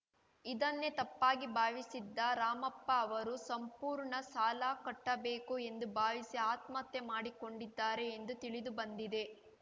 ಇದನ್ನೇ ತಪ್ಪಾಗಿ ಭಾವಿಸಿದ್ದ ರಾಮಪ್ಪ ಅವರು ಸಂಪೂರ್ಣ ಸಾಲ ಕಟ್ಟಬೇಕು ಎಂದು ಭಾವಿಸಿ ಆತ್ಮಹತ್ಯೆ ಮಾಡಿಕೊಂಡಿದ್ದಾರೆ ಎಂದು ತಿಳಿದು ಬಂದಿದೆ